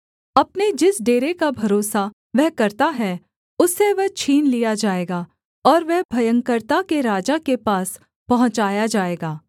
अपने जिस डेरे का भरोसा वह करता है उससे वह छीन लिया जाएगा और वह भयंकरता के राजा के पास पहुँचाया जाएगा